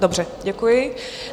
Dobře, děkuji.